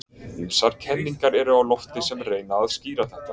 Ýmsar kenningar eru á lofti sem reyna að skýra þetta.